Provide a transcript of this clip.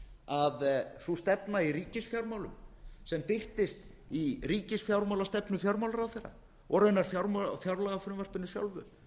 að sú stefna í ríkisfjármálum sem birtist í ríkisfjármálastefnu fjármálaráðherra og raunar fjárlagafrumvarpinu sjálfu